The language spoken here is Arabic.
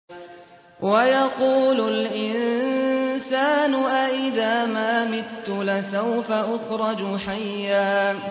وَيَقُولُ الْإِنسَانُ أَإِذَا مَا مِتُّ لَسَوْفَ أُخْرَجُ حَيًّا